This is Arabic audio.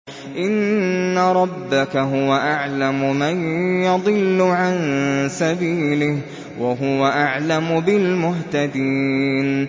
إِنَّ رَبَّكَ هُوَ أَعْلَمُ مَن يَضِلُّ عَن سَبِيلِهِ ۖ وَهُوَ أَعْلَمُ بِالْمُهْتَدِينَ